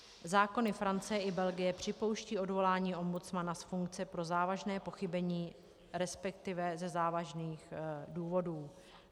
Zákony Francie i Belgie připouštějí odvolání ombudsmana z funkce pro závažné pochybení, respektive ze závažných důvodů.